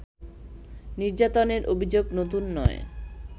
নির্যাতনের অভিযোগ নতুন নয়